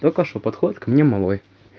только что подходит ко мне малой